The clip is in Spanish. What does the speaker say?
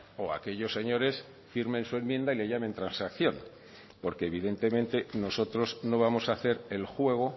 o aquellos señores firmen su enmienda y le llamen transacción porque evidentemente nosotros no vamos a hacer el juego